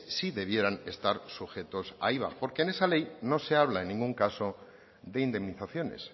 sí debieran estar sujetos a iva porque en esa ley no se habla en ningún caso de indemnizaciones